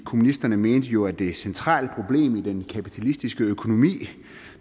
kommunisterne mente jo at det er et centralt problem i den kapitalistiske økonomi